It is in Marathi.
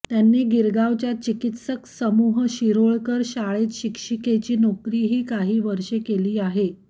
त्यांनी गिरगावच्या चिकित्सक समूह शिरोळकर शाळेत शिक्षिकेची नोकरीही काही वर्षे केली आहे